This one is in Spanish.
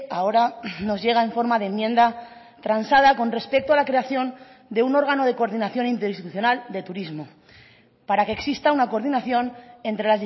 ahora nos llega en forma de enmienda transada con respecto a la creación de un órgano de coordinación interinstitucional de turismo para que exista una coordinación entre